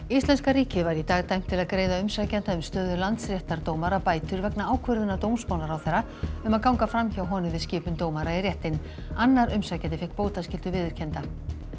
Íslenska ríkið var í dag dæmt til að greiða umsækjanda um stöðu landsréttardómara bætur vegna ákvörðunar dómsmálaráðherra um að ganga fram hjá honum við skipun dómara í réttinn annar umsækjandi fékk bótaskyldu viðurkennda